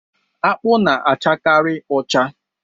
Akpụ na-achakari ọcha.